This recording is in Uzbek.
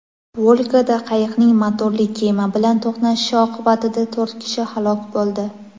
Volgada qayiqning motorli kema bilan to‘qnashishi oqibatida to‘rt kishi halok bo‘ldi.